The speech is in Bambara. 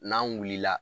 N'an wulila